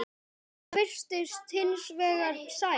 Inga virtist hins vegar sæl.